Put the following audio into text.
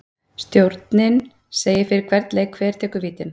Stjórinn segir fyrir hvern leik hver tekur vítin.